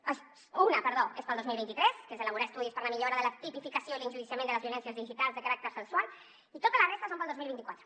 no una perdó és per al dos mil vint tres que és elaborar estudis per a la millora de la tipificació i l’enjudiciament de les violències digitals de caràcter sexual i tota la resta són per al dos mil vint quatre